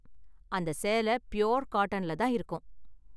அந்த சேல ஃப்யூர் காட்டன்ல தான் இருக்கும்.